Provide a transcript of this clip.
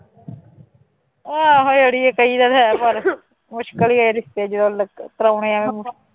ਆਹੋ ਆੜੀਏ ਕਈ ਜਾਣੇ ਹੈ ਪਰ ਮੁਸਕਲ ਹੀ ਹੈੈ ਰਿਸ਼ਤੇ ਜਦੋਂ ਲ ਕਰਵਾਉਣੇ ਹੋਣ।